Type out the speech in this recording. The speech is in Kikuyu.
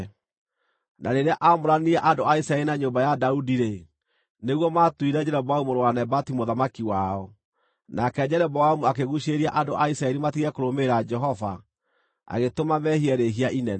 Na rĩrĩa aamũranirie andũ a Isiraeli na nyũmba ya Daudi-rĩ, nĩguo maatuire Jeroboamu mũrũ wa Nebati mũthamaki wao. Nake Jeroboamu akĩguucĩrĩria andũ a Isiraeli matige kũrũmĩrĩra Jehova, agĩtũma meehie rĩĩhia inene.